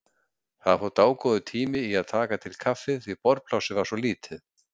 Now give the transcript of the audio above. Það fór dágóður tími í að taka til kaffið því borðplássið var svo lítið.